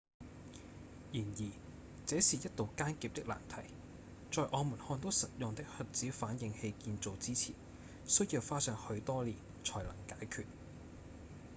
然而這是一道艱澀的難題在我們看到實用的核子反應器建造之前需要花上許多年才能解決